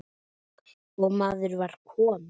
og maður var kominn.